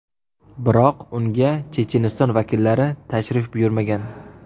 Biroq unga Checheniston vakillari tashrif buyurmagan.